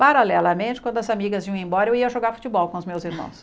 Paralelamente, quando as amigas iam embora, eu ia jogar futebol com os meus irmãos.